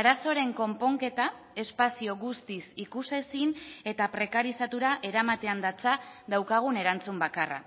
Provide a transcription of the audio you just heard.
arazoaren konponketa espazio guztiz ikusezin eta prekarizatura eramatean datza daukagun erantzun bakarra